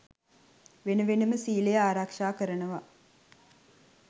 වෙන වෙනම සීලය ආරක්ෂා කරනව